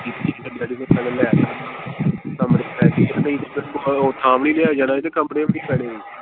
ਉਹ ਥਾਂ ਵੀ ਨਹੀਂ ਲਿਆ ਜਾਣਾ ਸੀ ਤੇ ਕਮਰੇ ਵੀ ਨਹੀਂ ਪੈਣੇ ਸੀ।